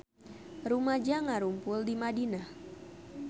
Rumaja ngarumpul di Madinah